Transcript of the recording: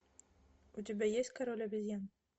у тебя есть король обезьян